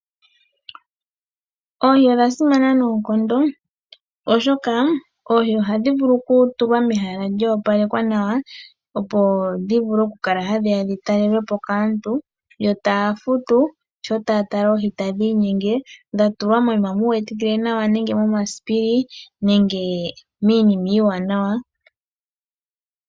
Oohi odha simana noonkondo, oshoka oohi ohadhi vulu oku tulwa mehala lyo opalekwa nawa, opo dhi vule oku kala hadhi ya oku talelwa po kaantu, yo taya futu sho taya tala oohi tadhi inyenge. Dha tulwa moyima u wetikile nawa nenge momasipili nenge miinima iiwaanawa.